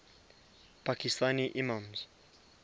pakistani imams